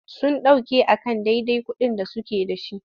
Sun ɗauke a kan dadai kuɗin da suke.da.shi.